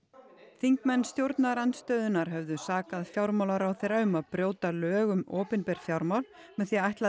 þingmenn stjórnarandstöðunnar höfðu sakað fjármálaráðherra um að brjóta lög um opinber fjármál með því að ætla að